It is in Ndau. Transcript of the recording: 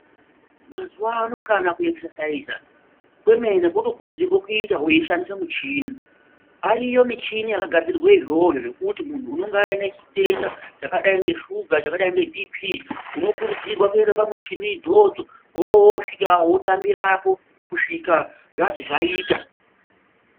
Mazuwano kana kuekisesaiza kwemene kwotokurudzirwa kuita weishandise michini. Ariyo michini yakagadzirirwe izvozvo zvekuti munhu unenga ane chitenda chakadai ngeshuga, chakadai ngeBhiipii unokuridzirwa kuende pamichini idzodzo wowosvika wotambirapo kusvika zvazi zvaita.